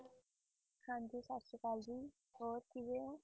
ਹਾਂਜੀ ਸਤਿ ਸ੍ਰੀ ਅਕਾਲ ਜੀ ਹੋਰ ਕਿਵੇਂ ਹੋ?